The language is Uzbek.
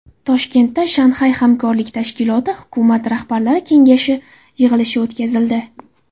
Toshkentda Shanxay hamkorlik tashkiloti hukumat rahbarlari kengashi yig‘ilishi o‘tkazildi .